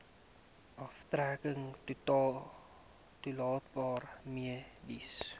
aftrekking toelaatbare mediese